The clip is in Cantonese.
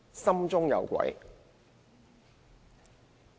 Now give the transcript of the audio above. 心中有鬼。